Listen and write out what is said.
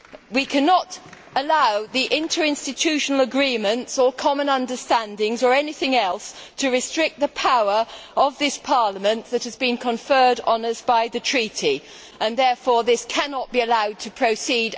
We cannot allow the interinstitutional agreements, or common understandings or anything else, to restrict the power of this Parliament that has been conferred on us by the Treaty, and therefore this text cannot be allowed to proceed.